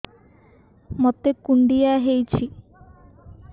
ମୋତେ କୁଣ୍ଡିଆ ହେଇଚି